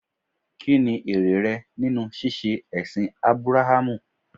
Kí ni èrè rẹ nínú ṣíṣe ẹ̀sìn Ábúráhámù?